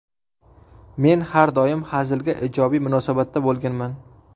Men har doim hazilga ijobiy munosabatda bo‘lganman.